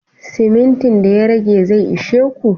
Simintin da ya rage zai ishe ku?